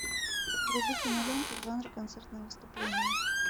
вруби киноленту в жанре концертное выступление